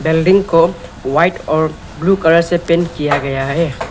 Building को white और blue colour से पेंट किया गया है।